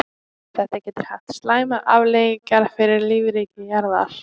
Þetta getur haft slæmar afleiðingar fyrir lífríki jarðar.